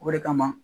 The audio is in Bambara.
O de kama